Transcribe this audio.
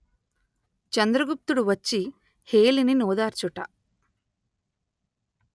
చంద్రగుప్తుడు వచ్చి హేళిని ఓదార్చుట